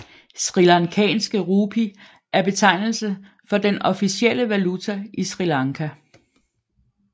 Srilankanske rupee er betegnelse for den officielle valuta i Sri Lanka